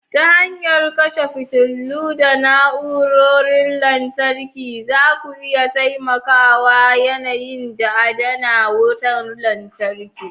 Ta hanyar kashe fitilu da na'urorin lantarki, zaku iya taimakawa yanayi da adana wutar lantarki.